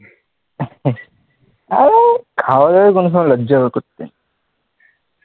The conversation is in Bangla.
আমি খাওয়া দাওয়াইয় কোন সময়ে লজ্জা করতে নাই,